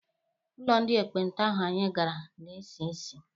Ụlọ ndị ekpenta ahụ anyị gara na-esi isi.